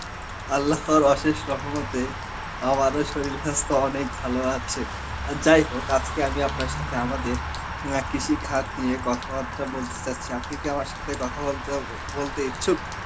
Arbi এর সহমতে আমারও শরীর স্বাস্থ্য অনেক ভালো আছে. আর যাই হোক আজকে আমি আপনার সাথে আমাদের আ কৃষি খাত নিয়ে কথাবার্তা বলতে চাইছি, আপনি কি আমার সাথে কথা বলতে~ ও বলতে ইচ্ছুক?